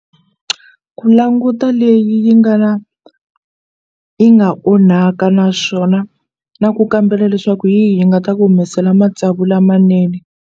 Ku languta leyi yi nga na yi nga onhaka naswona na ku kambela leswaku hi yihi yi nga ta ku humesela matsavu lamanene.